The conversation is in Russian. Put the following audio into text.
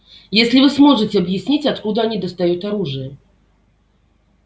если вы сможете объяснить откуда они достают оружие